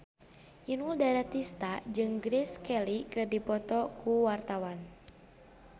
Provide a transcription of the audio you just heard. Inul Daratista jeung Grace Kelly keur dipoto ku wartawan